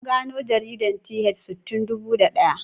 An gano jaridar Th Sun tun dubu da daya.